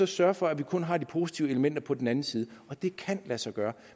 sørge for at vi kun har de positive elementer på den anden side det kan lade sig gøre